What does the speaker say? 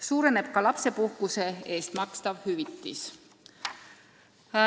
Suureneb ka lapsepuhkuse eest makstav hüvitis.